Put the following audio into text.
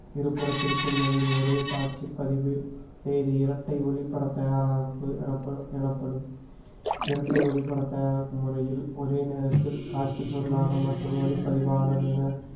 இருபுறத்திற்கும் இருந்து ஒரே காட்சிப்பதிவு செய்து இரட்டை ஒளிபட எனப்படு~ எனப்படும் இரட்டை ஒளிபட தயாராகும் முறையில் ஒரே நேரத்தில் காட்சி பொருளாக மட்டும் ஒளிப்பதிவாளர் என